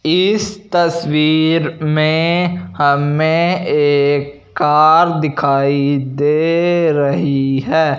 इस तस्वीर में हमें एक कार दिखाई दे रही है।